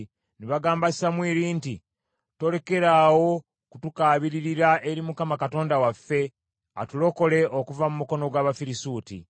Ne bagamba Samwiri nti, “Tolekeraawo kutukaabiririra eri Mukama Katonda waffe, atulokole okuva mu mukono gw’Abafirisuuti.”